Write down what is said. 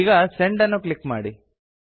ಈಗ ಸೆಂಡ್ ಅನ್ನು ಕ್ಲಿಕ್ ಮಾಡಿ